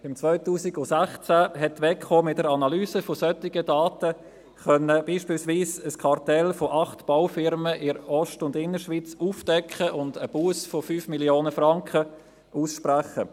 Im Jahr 2016 konnte die WEKO mit der Analyse solcher Daten beispielsweise ein Kartell von acht Baufirmen in der Ost- und Innerschweiz aufdecken und eine Busse von 5 Mio. Franken aussprechen.